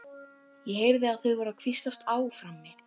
Ég heyrði að þau voru að hvíslast á frammi.